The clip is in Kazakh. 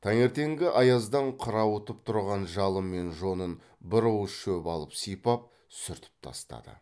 таңертеңгі аяздан қырауытып тұрған жалы мен жонын бір уыс шөп алып сипап сүртіп тастады